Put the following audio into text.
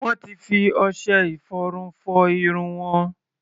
Wọ́n ti fi ọṣẹ-ìfọrun fọ irun wọn.